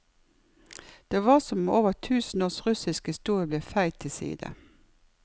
Det var som om over tusen års russisk historie ble feid til side.